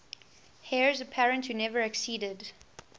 heirs apparent who never acceded